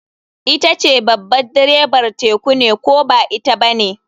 Ita babar direbar teku ne ko ba ita bane.